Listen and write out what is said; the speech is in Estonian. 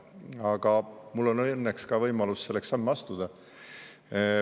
Aga mul on õnneks võimalus selleks samme astuda.